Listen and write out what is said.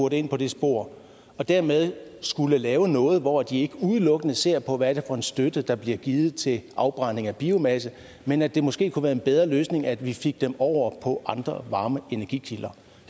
ind på det spor og dermed skal lave noget hvor de ikke udelukkende ser på hvad det er for en støtte der bliver givet til afbrænding af biomasse men at det måske kunne være en bedre løsning at vi fik dem over på andre varme energikilder